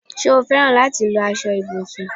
Ṣé o féràn láti lọ aṣọ ibùsùn?